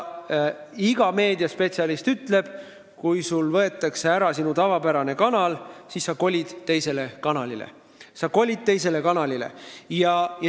Iga meediaspetsialist ütleb selle peale, et kui sult võetakse ära sinu tavapärane kanal, siis sa kolid teisele kanalile.